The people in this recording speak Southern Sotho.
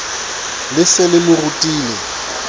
le se le mo rutile